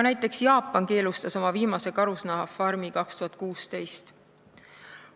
Ka Jaapan keelustas oma viimase karusloomafarmi 2016.